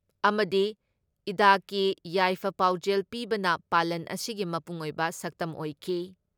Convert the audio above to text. ꯑꯃꯗꯤ ꯏꯗꯀꯤ ꯌꯥꯏꯐ ꯄꯥꯎꯖꯦꯜ ꯄꯤꯕꯅ ꯄꯥꯂꯟ ꯑꯁꯤꯒꯤ ꯃꯄꯨꯡ ꯑꯣꯏꯕ ꯁꯛꯇꯝ ꯑꯣꯏꯈꯤ ꯫